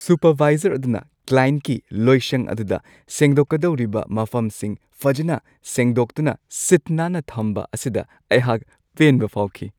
Supervisor ꯑꯗꯨꯅ ꯀ꯭ꯂꯥꯢꯟꯠꯀꯤ ꯂꯣꯏꯁꯪ ꯑꯗꯨꯗ ꯁꯦꯡꯗꯣꯛꯀꯗꯧꯔꯤꯕ ꯃꯐꯝꯁꯤꯡ ꯐꯖꯅ ꯁꯦꯡꯗꯣꯛꯇꯨꯅ ꯁꯤꯠ ꯅꯥꯟꯅ ꯊꯝꯕ ꯑꯁꯤꯗ ꯑꯩꯍꯥꯛ ꯄꯦꯟꯕ ꯐꯥꯎꯈꯤ ꯫